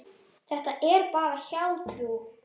Þetta er bara hjátrú.